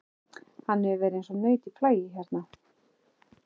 Hann hefur verið eins og naut í flagi hérna.